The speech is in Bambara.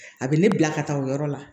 A bɛ ne bila ka taa o yɔrɔ la